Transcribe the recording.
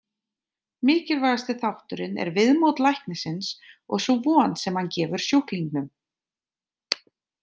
Mikilvægasti þátturinn er viðmót læknisins og sú von sem hann gefur sjúklingnum.